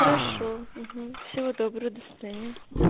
хорошо угу всего доброго до свидания